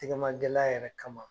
Tɛgɛma gɛlɛya yɛrɛ kama